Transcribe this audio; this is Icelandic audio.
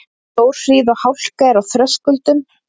Stórhríð og hálka er á Þröskuldum